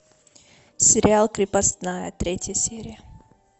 сериал крепостная третья серия